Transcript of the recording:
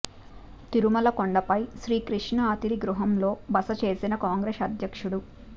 తిరుమల కొండపై శ్రీ కృష్ణ అతిథి గృహంలో బసచేసిన కాంగ్రెస్ అధ్యక్షుడు